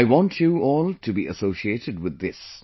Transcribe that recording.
I want you all to be associated with this